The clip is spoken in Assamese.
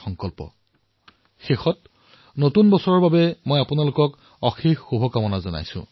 আপোনালোকক নতুন বৰ্ষৰ অনেক শুভকামনা জনাইছো